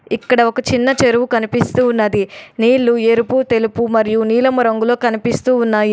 ఇక్కడ ఒక చిన్న చెరువు కనిపిస్తూ ఉన్నది నీళ్లు ఎరుపు తెలుపు మరియు నీలం రంగులో కనిపిస్తూ ఉన్నాయి.